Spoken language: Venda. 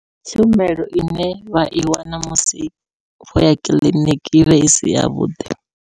Ndi tshumelo ine vha i wana musi vhoya kiḽiniki i vha isi yavhuḓi.